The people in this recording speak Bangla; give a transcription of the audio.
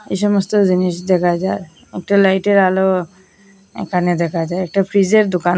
এই সমস্ত জিনিস দেখা যার একটা লাইটের আলো এখানে দেখা যায় একটা ফ্রিজের দোকান।